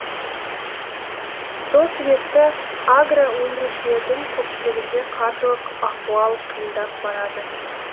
сол себепті агро өндірушілердің көпшілігінде қаржылық ахуал қиындап барады